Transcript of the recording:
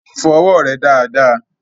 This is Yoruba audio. Fọ ọwọ́ rẹ dáadáa!